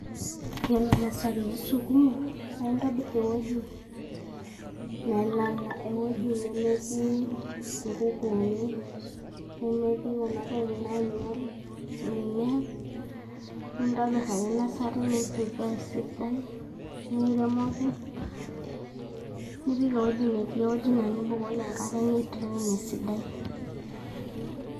Yiolo nasari osukumi na entobir teweuji nelala eweuji nemetii inkukuni, nemetii kuna tokitin nainyial mimea, intobir ake nasari nim prepare esidai niremoki, nipik eweuji na tenibukoki enkare ni drain esidai.